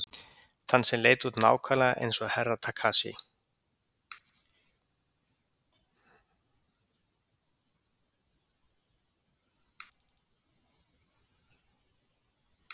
Þann sem leit út nákvæmlega eins og Herra Takashi.